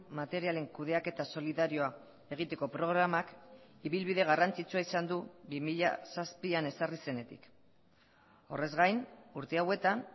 materialen kudeaketa solidarioa egiteko programak ibilbide garrantzitsua izan du bi mila zazpian ezarri zenetik horrez gain urte hauetan